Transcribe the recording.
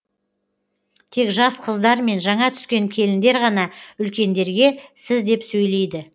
тек жас қыздар мен жаңа түскен келіндер ғана үлкендерге сіз деп сөйлейді